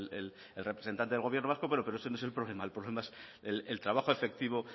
el representante del gobierno vasco pero ese no es el problema el problema es el trabajo efectivo